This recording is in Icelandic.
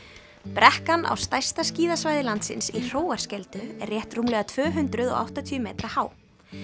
brekkan á stærsta skíðasvæði landsins í Hróarskeldu er rétt rúmlega tvö hundruð og áttatíu metra há